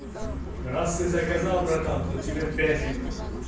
раз ты заказал братан то тебе пять литров